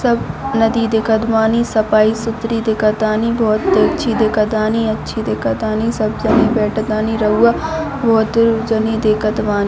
सब नदी देखत बानी सपाई-सुपरी देखा तानी बहुते अच्छी देखत तानी अच्छी देखत तानी सब समय अट कानि रउवा बहुत जने देखत बानी।